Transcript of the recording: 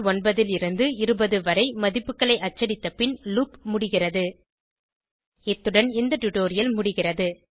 29 லிருந்து 20 வரை மதிப்புகளை அச்சடித்த பின் லூப் முடிகிறது இத்துடன் இந்த டுடோரியல் முடிகிறது